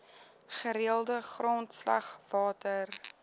gereelde grondslag water